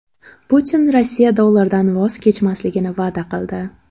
Putin Rossiya dollardan voz kechmasligini va’da qildi.